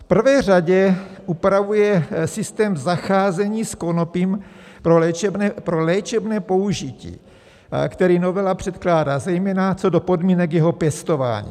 V prvé řadě upravuje systém zacházení s konopím pro léčebné použití, který novela předkládá, zejména co do podmínek jeho pěstování.